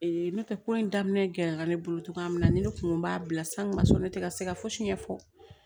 n'o tɛ ko in daminɛ gɛlɛyara ne bolo togoya minna na ni ne kun b'a bila san kun ma sɔn ne tɛ ka se ka fosi ɲɛfɔ